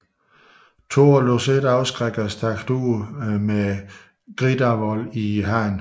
Thor lod sig ikke afskrække og stagede sig ud med Gridarvol i hånden